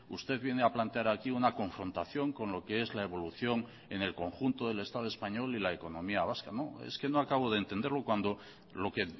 usted viene a plantear aquí una confrontación con lo que es la evolución en el conjunto del estado español y la economía vasca es que no acabo de entenderlo cuando lo que